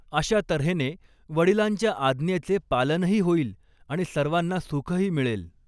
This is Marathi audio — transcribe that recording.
अशा तऱ्हेने वडिलांच्या आज्ञेचे पालनही होईल आणि सर्वांना सुखही मिळेल.